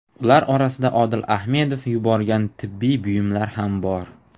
Ular orasida Odil Ahmedov yuborgan tibbiy buyumlar ham bor.